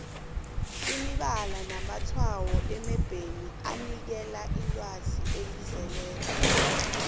imibala namatshwayo emebheni anikela ilwazi elizeleko